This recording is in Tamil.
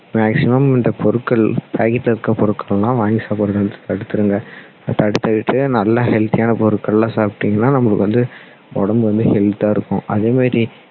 maximum இந்த பொருட்கள் packet ல இருக்குற பொருட்கள் எல்லாம் வாங்கி சாப்பிடுறத தடுத்துடுங்க தடுத்துட்டு நல்ல healthy யான பொருட்கள்லாம் சாப்பிட்டீங்கன்னா நம்மளுக்கு வந்து உடம்பு வந்து health தா இருக்கும் அதே மாதிரி